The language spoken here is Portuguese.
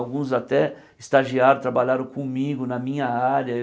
Alguns até estagiaram, trabalharam comigo na minha área.